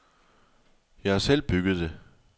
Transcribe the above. Jeg har selv bygget det.